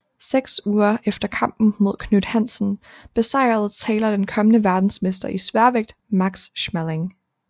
Seks uger efter kampen mod Knute Hansen besejrede Taylor den kommende verdensmester i sværvægt Max Schmeling